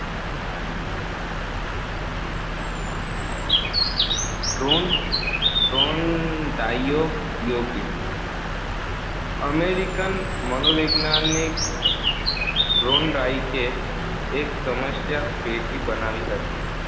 થોર્નડાઈકનો પ્રયોગ અમેરિકન મનોવૈજ્ઞાનિક થોર્નડાઈક એક સમસ્યાપેટી બનાવી હતી